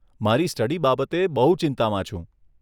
મારી સ્ટડી બાબતે બહુ ચિંતામાં છું.